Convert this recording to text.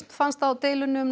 fannst á deilunni um